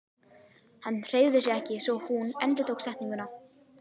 Hann hreyfði sig ekki svo hún endurtók setninguna.